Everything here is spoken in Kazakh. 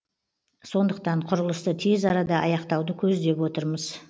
сондықтан құрылысты тез арада аяқтауды көздеп отырмыз